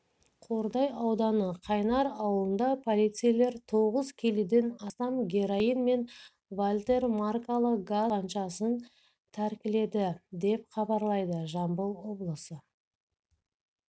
қордай ауданы қайнар ауылында полицейлер тоғыз келіден астам героин мен вальтер маркалы газ тапаншасын тәркіледі деп хабарлайды жамбыл облысы